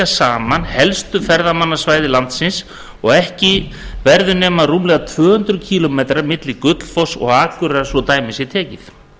saman helstu ferðamannasvæði landsins og ekki verður nema rúmlega tvö hundruð kílómetra leið milli gullfoss og akureyrar svo dæmi sé tekið